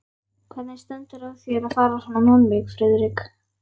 Hvernig stendur á þér að fara svona með mig, Friðrik?